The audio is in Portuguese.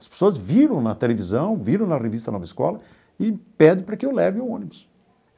As pessoas viram na televisão, viram na revista Nova Escola e pede para que eu leve o ônibus.